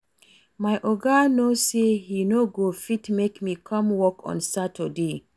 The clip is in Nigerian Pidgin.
My Oga no say he no go fit make me come work on Saturday